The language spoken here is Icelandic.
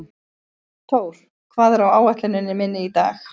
Thór, hvað er á áætluninni minni í dag?